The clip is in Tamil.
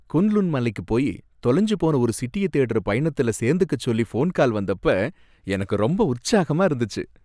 குன் லுன் மலைக்கு போய் தொலைஞ்சு போன ஒரு சிட்டிய தேடுற பயணத்துல சேர்ந்துக்கச் சொல்லி போன்கால் வந்தப்ப எனக்கு ரொம்ப உற்சாகமா இருந்துச்சு.